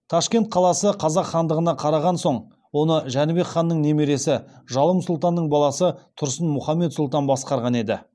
ташкент қаласы қазақ хандығына қараған соң оны жәнібек ханның немересі жалым сұлтанның баласы тұрсын мұхаммед сұлтан басқарған еді